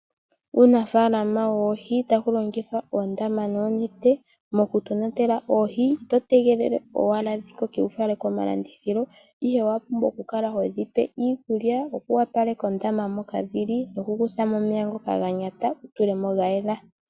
Uunafaalama woohi, taku longithwa oondama noonente moku tonatela oohi. Oto tegelele owala dhikoke ngoye tofala komalandithilo. Owa pumbwa oku kala todhipe iikulya, oku yopaleka ondama moka dhili, noku kuthamo omeya ngoka ganyata wutulemo ngoka gayela.